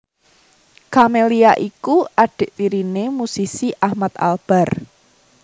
Camelia iku adhik tiriné musisi Ahmad Albar